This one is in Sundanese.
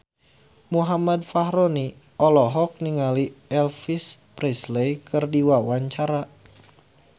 Muhammad Fachroni olohok ningali Elvis Presley keur diwawancara